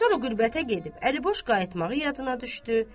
Sonra qürbətə gedib əliboş qayıtmağı yadına düşdü.